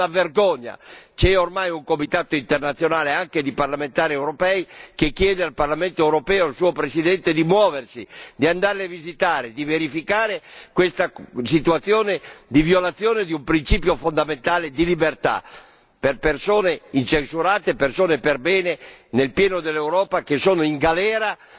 È una vergogna, c'è ormai un comitato internazionale, composto anche di parlamentari europei, che chiede al Parlamento europeo e al suo Presidente di muoversi, di andare a visitarli, di verificare questa situazione di violazione di un principio fondamentale di libertà nei confronti di persone incensurate, persone perbene, nel pieno dell'Europa, che sono in galera